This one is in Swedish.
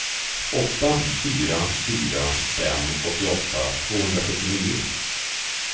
åtta fyra fyra fem åttioåtta tvåhundrasjuttionio